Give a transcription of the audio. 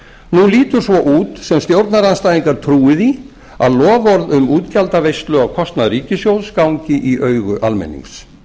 nú lítur svo út sem stjórnarandstæðingar trúi því að loforð um útgjaldaveislu á kostnað ríkissjóðs gangi í augu almennings